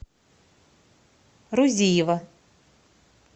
рузиева